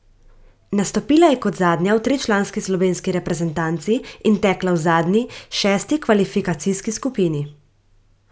Nastopila je kot zadnja v tričlanski slovenski reprezentanci in tekla v zadnji, šesti kvalifikacijski skupini.